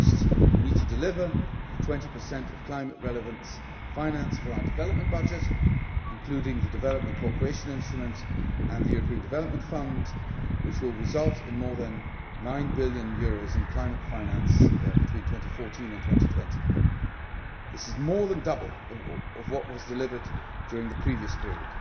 First, we need to deliver the 20 of climate relevant finance for our development budget, including the Development Cooperation Instrument and the European Development Fund, which will result in more than EUR 9 billion in climate finance between 2014 and 2020. This is more than double what was delivered during the previous period.